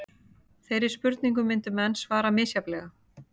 Þeirri spurningu myndu menn svara misjafnlega.